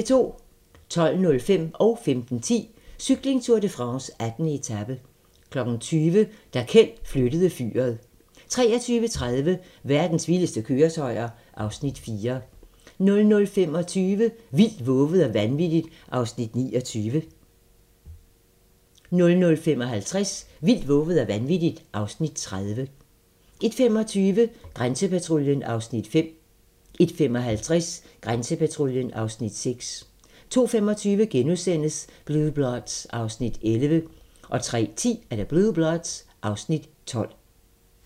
12:05: Cykling: Tour de France - 18. etape 15:10: Cykling: Tour de France - 18. etape 20:00: Da Kjeld flyttede fyret 23:30: Verdens vildeste køretøjer (Afs. 4) 00:25: Vildt, vovet og vanvittigt (Afs. 29) 00:55: Vildt, vovet og vanvittigt (Afs. 30) 01:25: Grænsepatruljen (Afs. 5) 01:55: Grænsepatruljen (Afs. 6) 02:25: Blue Bloods (Afs. 11)* 03:10: Blue Bloods (Afs. 12)